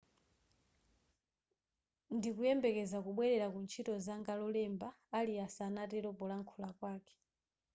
ndikuyembekeza kubwerera kuzintchito zanga lolemba arias anatero polankhula kwake